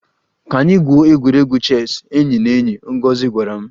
Ka anyị gwuo egwuregwu chess enyi na enyi, Ngozi gwara m